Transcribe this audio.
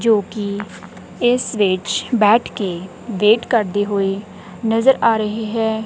ਜੋ ਕਿ ਇਸ ਵਿੱਚ ਬੈਠ ਕੇ ਵੇਟ ਕਰਦੇ ਹੋਏ ਨਜ਼ਰ ਆ ਰਹੇ ਹੈ।